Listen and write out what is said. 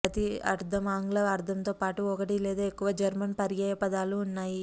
ప్రతి అర్ధం ఆంగ్ల అర్ధంతో పాటు ఒకటి లేదా ఎక్కువ జర్మన్ పర్యాయపదాలు ఉన్నాయి